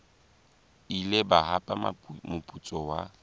ile ba hapa moputso wa